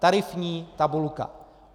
Tarifní tabulka.